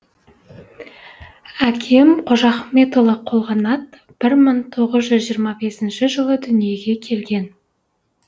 әкем қожахметұлы қолғанат бір мың тоғыз жиырма бесінші жылы дүниеге келген